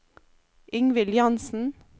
Ingvild Jansen